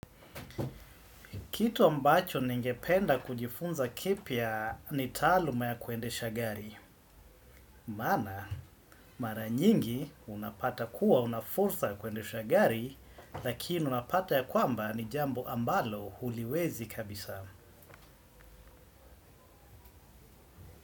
Kitu ambacho ningependa kujifunza kipya ni taaluma ya kuendesha gari. Maana mara nyingi unapata kuwa unafursa kuendesha gari. Lakini unapata ya kwamba ni jambo ambalo huliwezi kabisa.